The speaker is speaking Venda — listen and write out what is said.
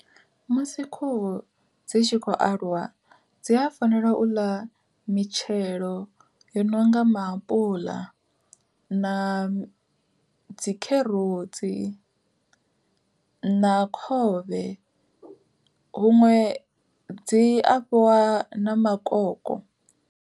Musi khuhu dzi tshi khou aluwa dzi a fanela u ḽa mitshelo yo nonga maapuḽa, na dzi kherotsi na khovhe huṅwe dzi afhiwa na makoko.